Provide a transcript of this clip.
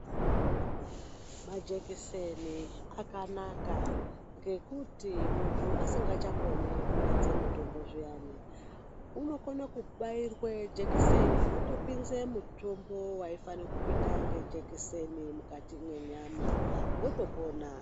Majekiseni akanaka, ngekuti muntu asingachakoni kumedze mitombo zviyana, unokone kubairwe jekiseni rotopinze mutombo waifane kupinda ngejekiseni, mukati mwenyama, wotopona.